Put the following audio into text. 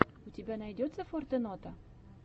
у тебя найдется фортенота